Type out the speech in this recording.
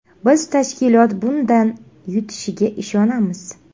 Biz tashkilot bundan yutishiga ishonamiz.